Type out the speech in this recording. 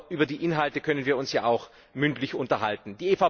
Aber über die Inhalte können wir uns ja auch mündlich unterhalten.